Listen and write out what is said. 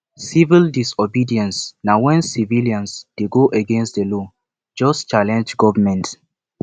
civil disobedience na when civilian de go against the law just challenge government